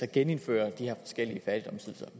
genindføre